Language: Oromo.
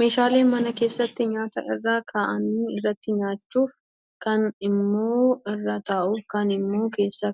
Meeshaalee mana keessatti nyaata irra kaa'anii irratti nyaachuuf, kaan immoo irra taa'uuf, kaan immoo keessa